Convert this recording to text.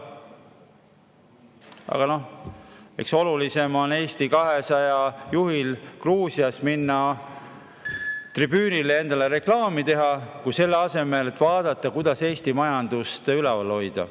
Aga noh, eks olulisem on Eesti 200 juhil Gruusias minna tribüünile ja endale reklaami teha, selle asemel et vaadata, kuidas Eesti majandust üleval hoida.